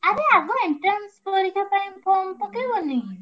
ଆରେ ଆଗ entrance exam ପାଇଁ form ପକେଇବାନି?